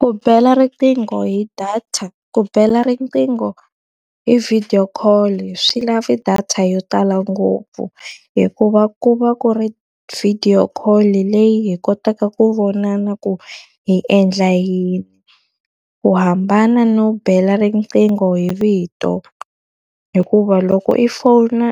Ku bela riqingho hi data, ku bela riqingho hi video call-i swi lava data yo tala ngopfu. Hikuva ku va ku ri video call-i leyi hi kotaka ku vonana ku hi endla yini. Ku hambana no bela riqingho hi vito, hikuva loko i fona